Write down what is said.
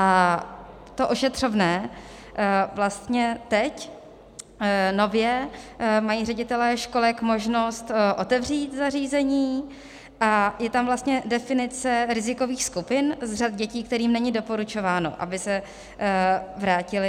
A to ošetřovné - vlastně teď nově mají ředitelé školek možnost otevřít zařízení a je tam vlastně definice rizikových skupin z řad dětí, kterým není doporučováno, aby se vrátily.